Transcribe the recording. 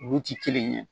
Olu ti kelen ye